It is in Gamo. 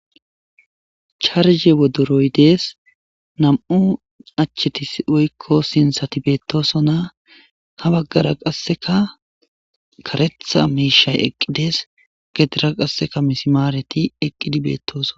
Charige wodoroyi dessi namu'u acheti woyiko sinithati betosona, ha baggara qassikka karetha mishayi eqidesi.gedera qassi misimareti eqidi betesi